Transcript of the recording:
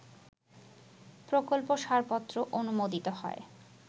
প্রকল্প সারপত্র অনুমোদিত হয়